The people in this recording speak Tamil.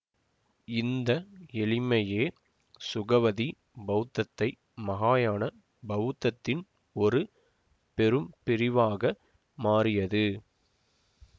இந்த எளிமையே சுகவதி பௌத்தத்தை மஹாயான பௌத்தத்தின் ஒரு பெரு பிரிவாக மாறியது